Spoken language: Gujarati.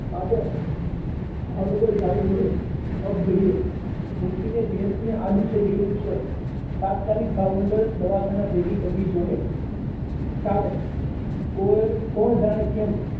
પાદર ભાવનગર જાવું જોઈએ અબ ઘડીએ મુખી ને બેસી ને આડું થઇ ગયું છે તાત્કાલિક એને ભાવનગર ભેગી કરવી પડશે ચાલો કોણ જાણે કેમ